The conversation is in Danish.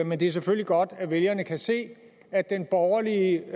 men det er selvfølgelig godt at vælgerne kan se at den borgerlige